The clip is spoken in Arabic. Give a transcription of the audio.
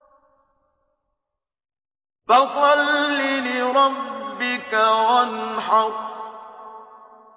فَصَلِّ لِرَبِّكَ وَانْحَرْ